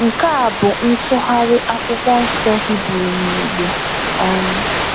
Nke a bụ ntụgharị Akwụkwọ Nsọ Hibru n’Igbo. um